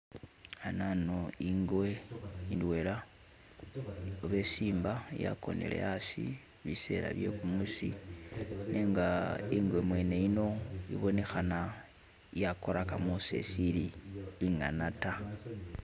Hanano ingwe indwela oba isimba yagonele hasi bisela bye gumuusi nenga ingwe mwene yini ibonekhana yakorakamo seshili inyana da.